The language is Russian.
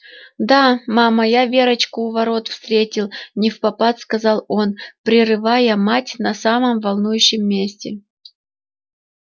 да мама я верочку у ворот встретил невпопад сказал он прерывая мать на самом волнующем месте